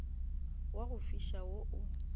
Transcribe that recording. wa go fiša wo o